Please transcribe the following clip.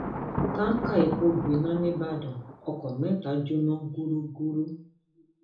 tọkà epo gbiná nìbàdàn ọkọ mẹta jóná gúdugùru